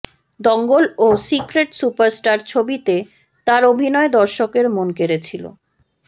দঙ্গল ও secret superstar ছবিতে তাঁর অভিনয় দর্শকের মন কেড়েছিল